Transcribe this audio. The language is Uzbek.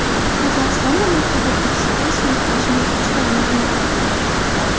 Qozog‘istonda maktab o‘quvchisi o‘z sinfdoshini ruchka bilan o‘ldirib qo‘ydi.